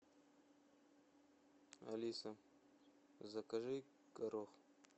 алиса закажи горох